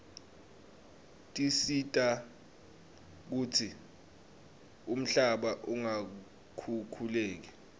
tisita kutsi umhlaba ungakhukhuleki